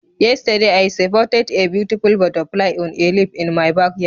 Yesterday, I spotted a beautiful butterfly on a leaf in my backyard